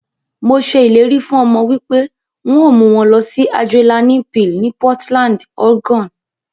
Mo se ileri fun omo wipe n o mu won losi Adrenaline Peal ni Portland, Oregon.